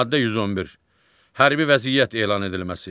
Maddə 111. Hərbi vəziyyət elan edilməsi.